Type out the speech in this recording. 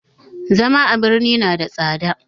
Zama a birni na da tsada